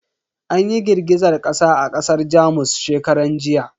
An yi girgizar kasa a kasar Jamus shekaran jiya.